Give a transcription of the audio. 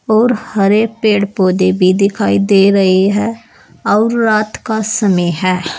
और हरे पेड़ पौधे भी दिखाई दे रही है और रात का समय है।